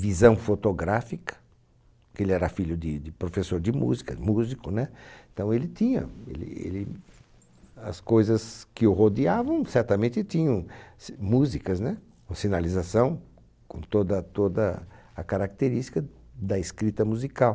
visão fotográfica, porque ele era filho de de professor de música, músico, né? Então ele tinha, ele, ele, as coisas que o rodeavam certamente tinham s músicas, né? Com sinalização, com toda toda a característica da escrita musical.